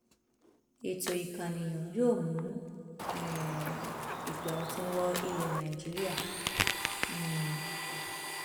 ètò ìkànìyàn yóò mú um igba ọtún wọ ilẹ nàìjíríà um